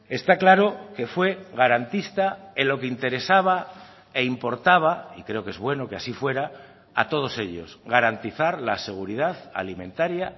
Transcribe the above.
está claro que fue garantista en lo que interesaba e importaba y creo que es bueno que así fuera a todos ellos garantizar la seguridad alimentaria